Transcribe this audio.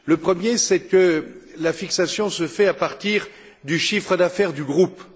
Le premier, c'est que la fixation se fait à partir du chiffre d'affaires du groupe.